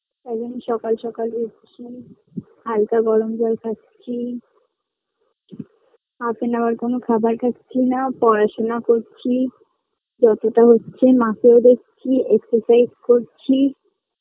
কদিন সকাল সকাল উঠছি হালকা গরম জল খাচ্ছি half and hour কোনো খাবার খাচ্ছি না পড়াশোনা করছি যতোটা হচ্ছে মাকেও দেখছি excercise করছি